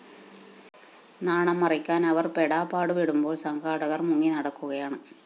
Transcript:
നാണം മറയ്ക്കാന്‍ അവര്‍ പെടാപാടു പെടുമ്പോള്‍ സംഘാടകര്‍ മുങ്ങി നടക്കുകയാണ്